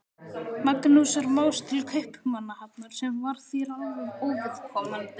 Magnúsar Más til Kaupmannahafnar, sem var þér alveg óviðkomandi.